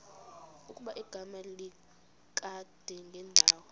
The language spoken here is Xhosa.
ukuba igama likadingindawo